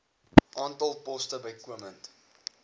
aantal poste bykomend